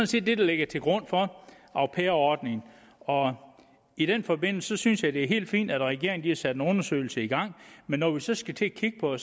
set det der ligger til grund for au pair ordningen og i den forbindelse synes jeg det er helt fint at regeringen har sat en undersøgelse i gang men når vi så skal til at kigge på